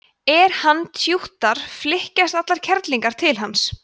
er hann tjúttar flykkjast allar kellingar til hans